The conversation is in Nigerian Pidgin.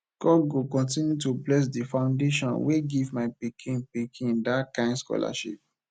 god go continue to bless the foundation wey give my pikin pikin dat kin scholarship